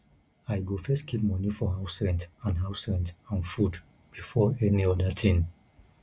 i go first keep money for house rent and house rent and food before any other thing